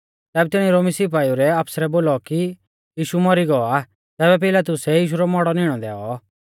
ज़ेबी तिणी रोमी सिपाइउ रै आफसरै बोलौ कि यीशु मौरी गौ आ तैबै पिलातुसै यीशु रौ मौड़ौ निणै दैऔ